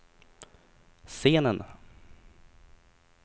scenen